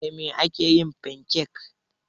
Da Mai aka yi fankek?